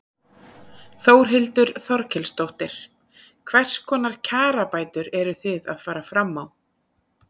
Þórhildur Þorkelsdóttir: Hvers konar kjarabætur eru þið að fara fram á?